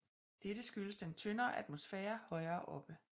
Dette skyldes den tyndere atmosfære højere oppe